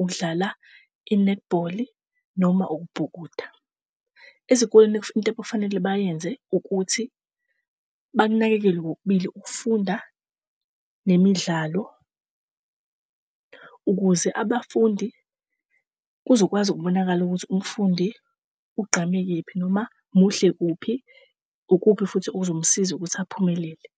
ukudlala i-netball noma ukubhukuda. Ezikoleni into ekufanele bayenze ukuthi banakekele kokubili, ukufunda nemidlalo, ukuze abafundi kuzokwazi ukubonakala ukuthi umfundi ugqame kephi noma muhle kuphi, ukuphi futhi okuzomsiza ukuthi aphumelele?